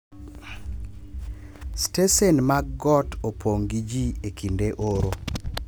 Stesen mag got opong’ gi ji e kinde oro